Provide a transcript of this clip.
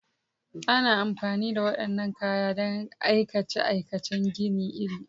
Ana amfani da waɗannan kayan don aikace-aikacen gini iri-iri.